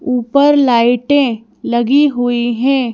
ऊपर लाइटें लगी हुई हैं।